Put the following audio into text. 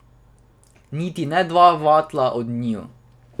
Niti ne dva vatla od njiju.